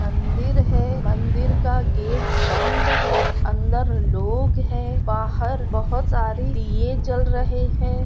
मंदिर है मंदिर का गेट बंध है। अंदर लोग हैं बाहर बहुत सारे दिये जल रहे हैं।